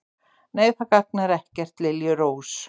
Nei, það gagnar ekkert, liljurós.